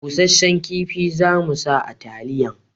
Busashen kifi za mu sa a taliyan